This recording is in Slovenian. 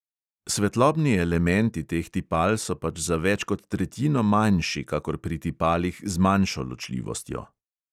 Svetlobni elementi teh tipal so pač za več kot tretjino manjši kakor pri tipalih z manjšo ločljivostjo.